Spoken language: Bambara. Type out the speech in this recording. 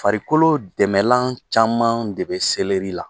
Farikolo dɛmɛlan caman de bɛ selɛri la.